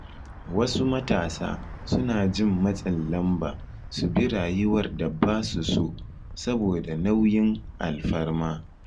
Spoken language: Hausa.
Wasu matasa suna jin matsin lamba su bi rayuwar da ba su so saboda nauyin alfarma.